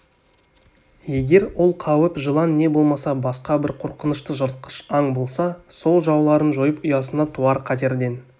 егер ол қауіп жылан не болмаса басқа бір қорқынышты жыртқыш аң болса сол жауларын жойып ұясына туар қатерден